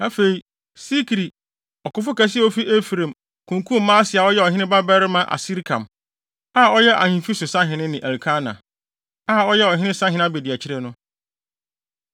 Afei, Sikri, ɔkofo kɛse a ofi Efraim, kunkum Maaseia a ɔyɛ ɔhene babarima Asrikam, a ɔyɛ ahemfi so sahene ne Elkana, a ɔyɛ ɔhene sahene abediakyiri no.